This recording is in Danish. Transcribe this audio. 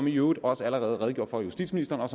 i øvrigt også allerede redegjort for af justitsministeren